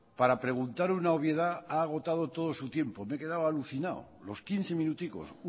para preguntar una obviedad ha agotado todo su tiempo me he quedado alucinado los quince minuticos